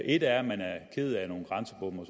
et er at man er ked af nogle grænsebomme og